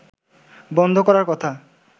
বন্ধ করার কথা